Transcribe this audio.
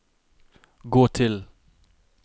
gå til